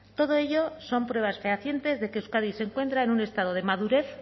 todo ello son pruebas fehacientes de que euskadi se encuentra en un estado de madurez